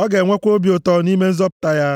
ọ ga-enwekwa obi ụtọ nʼime nzọpụta ya.